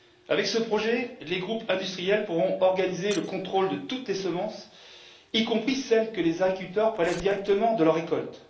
Avec ce projet, les groupes industriels pourront organiser le contrôle de toutes les semences, y compris celles que les agriculteurs prélèvent directement sur leur récolte.